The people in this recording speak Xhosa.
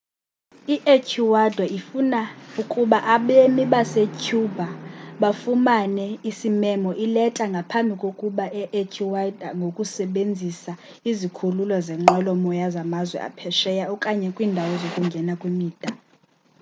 i-ecuador ifuna ukuba abemi basecuba bafumane isimemo ileta ngaphambi kokungena e-ecuador ngokusebenzisa izikhululo zeenqwelomoya zamazwe aphesheya okanye kwiindawo zokungena kwimida